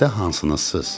Xəstə hansınız?